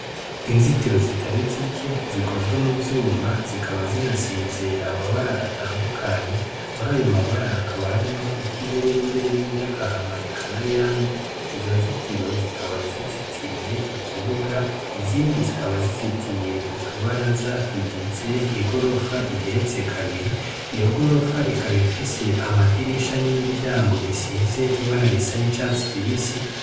Inzitiro zitari zike zikozwe mu vyuma zikaba zinasize amabara atandukanye muri ayo mabara hakaba harimwo iryo ubururu mbere n'inryagahama ekana yandi izo nzitiro zikaba zizitiye ikibuga izindi zikaba zizitiye utubara zatugize i gorofa igeretsekaa biri iyo gorofa ikabifise amadirisha n'imiryango bisize ibararisa n'icasu kibisi.